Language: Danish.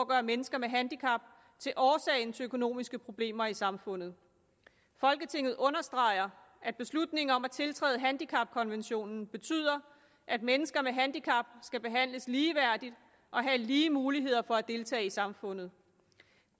at gøre mennesker med handicap til årsagen til økonomiske problemer i samfundet folketinget understreger at beslutningen om at tiltræde handicapkonventionen betyder at mennesker med handicap skal behandles ligeværdigt og have lige muligheder for at deltage i samfundet